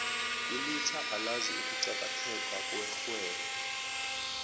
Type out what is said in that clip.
ilutjha alazi ukuqakatheka kwerhwebo